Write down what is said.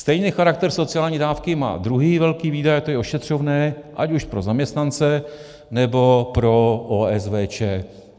Stejný charakter sociální dávky má druhý velký výdaj, to je ošetřovné ať už pro zaměstnance, nebo pro OSVČ.